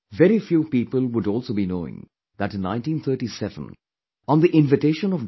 Very few people would also be knowing that in 1937, on the invitation of Dr